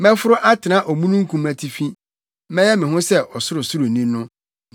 Mɛforo atra omununkum atifi; mɛyɛ me ho sɛ Ɔsorosoroni no.”